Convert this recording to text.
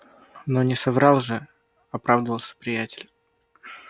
но не соврал же оправдывался приятель